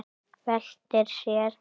Veltir sér.